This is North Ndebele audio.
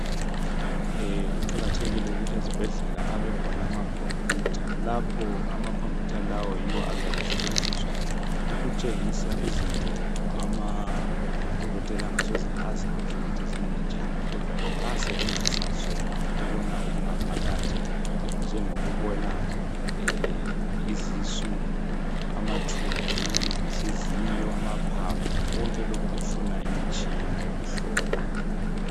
Kuqakathekile ukuthi ezibhedlela abekhona amakhompiyutha lapho amakhompiyutha lawo yiwo azabe esetshenziswa ukutshengisa izinto amadokotela angasoze azazi ukuthi zimi njani kodwa ke basebenzisa sona ukubona okungaphakathi njengokubona izisu, amathumbu izinhliziyo amaphaphu konke lokhu kufuna imitshina yokuhlola.